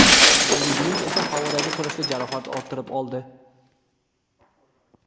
Deyli Blind esa havodagi kurashda jarohat orttirib oldi.